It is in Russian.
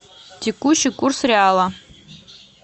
текущий курс реала